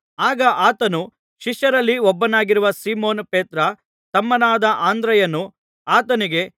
ಆಗ ಆತನ ಶಿಷ್ಯರಲ್ಲಿ ಒಬ್ಬನಾಗಿರುವ ಸೀಮೋನ್ ಪೇತ್ರನ ತಮ್ಮನಾದ ಅಂದ್ರೆಯನು ಆತನಿಗೆ